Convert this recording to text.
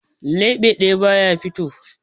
Leɓe ɗaya ba ya fito.